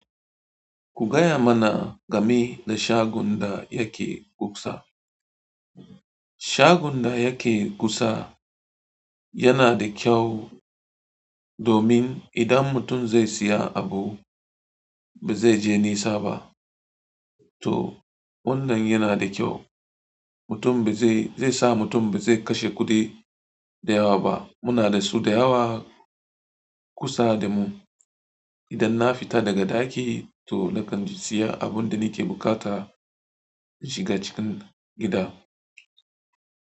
Ku gaya mana game da shagon da yake kusa. Sagon da yake kusa yana da kyau domin idan mutun zai siya abu bazai je nisa ba to wannan yana da kyau. Mutum ba zai, zai sa mutum ba zai kashe kuɗi da yawa ba. Muna da su da yawa kusa da mu. Idan na fita daga ɗaki to nakan siya abun da nike bukata in shiga cikin gida.